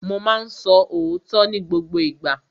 Mo ma ń sọ òótọ́ ní gbogbo ìgbà.